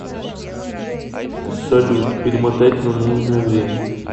салют перемотать на нужное время